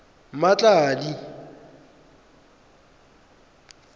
mmatladi